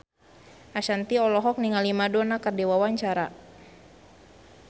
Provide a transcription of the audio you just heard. Ashanti olohok ningali Madonna keur diwawancara